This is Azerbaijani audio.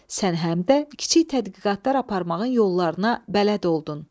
Sən həm də kiçik tədqiqatlar aparmağın yollarına bələd oldun.